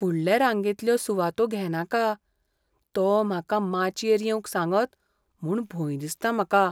फुडले रांगेंतल्यो सुवातो घेनाका. तो म्हाका माचयेर येवंक सांगत म्हूण भंय दिसता म्हाका.